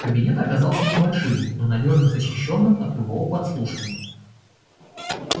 кабинет оказался небольшим но надёжно защищённым от любого подслушивания